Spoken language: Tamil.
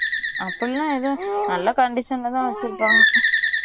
அப்டிலாம் ஏதும் நல்ல condition ல தான் வச்சிருபாங்க